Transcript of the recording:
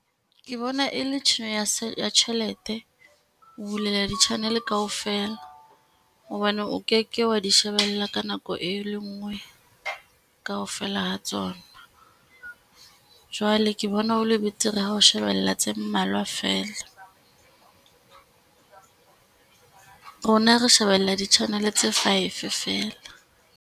Ke bona e le tshenyo ya tjhelete ho bulela di channel kaofela, hobane o keke wa di shebella ka nako, e le ngwe kaofela ha tsona. Jwale ke bona ho le betere ha o shebella tse mmalwa fela, rona re shebella di channel tse five fela.